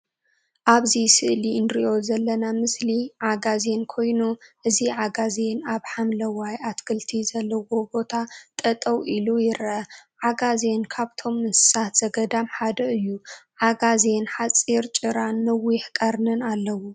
አብዚ ስእሊ እንሪኦ ዘለና ምስሊ ዓጋዜን ኮይኑ ፤ እዚ ዓጋዜን አብ ሓምላዋይ አትክልቲ ዘለዎ ቦታ ጠጠው ኢሉ ይርአ፡፡ ዓጋዜን ካብቶም እንስሳት ዘገዳም ሓደ እዩ፡፡ ዓጋዜን ሓፂር ጭራትን ነዊሕ ቀርኒን አለዎ፡፡